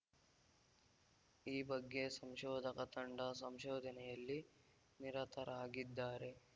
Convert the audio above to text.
ಈ ಬಗ್ಗೆ ಸಂಶೋಧಕ ತಂಡ ಸಂಶೋಧನೆಯಲ್ಲಿ ನಿರತರಾಗಿದ್ದಾರೆ